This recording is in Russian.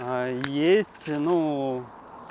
есть ну